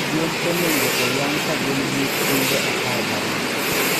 Gwen onego oyang' ka gin gi jumbe apar gariyo.